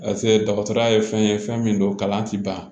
dɔgɔtɔrɔya ye fɛn ye fɛn min don kalan tɛ ban